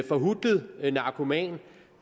forhutlet narkoman